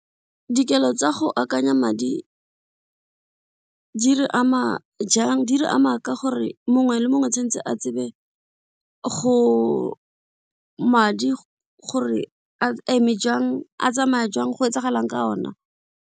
Dikelo tsa go akanya madi di re ama jang, di re ama ka gore mongwe le mongwe o tshwanetse a tsebe go madi gore a eme jang a tsamaya jang, go etsagalang ka ona.